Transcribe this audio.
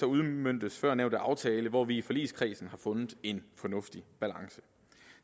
udmøntes førnævnte aftale hvor vi i forligskredsen har fundet en fornuftig balance